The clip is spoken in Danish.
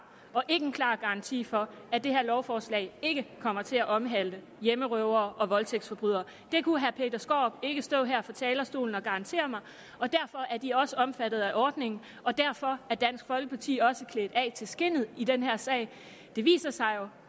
og ikke en klar garanti for at det her lovforslag ikke kommer til at omhandle hjemmerøvere og voldtægtsforbrydere det kunne herre peter skaarup ikke stå her fra talerstolen og garantere mig og derfor er de også omfattet af ordningen og derfor er dansk folkeparti jo også klædt af til skindet i den her sag det viser sig jo